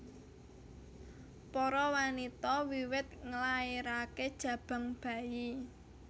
Para wanita wiwit nglairaké jabang bayi